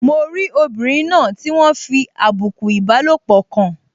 Mo rí obìnrin náà tí wọ́n fi àbùkù ìbálòpọ̀ kàn